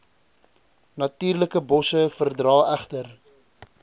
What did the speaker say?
natuurlikebosse verdra egter